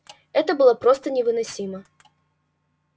это было просто невыносимо